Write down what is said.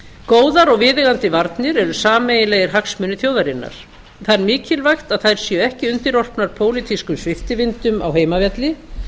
góðar og viðeigandi varnir eru sameiginlegir hagsmunir þjóðarinnar það er mikilvægt að þær séu ekki undirorpnar pólitískum sviptivindum á heimavelli